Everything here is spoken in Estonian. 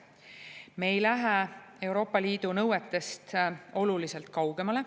Me ei lähe Euroopa Liidu nõuetest oluliselt kaugemale.